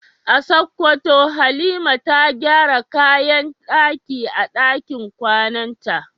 A Sokoto Halima ta gyara kayan daki a dakin kwananta.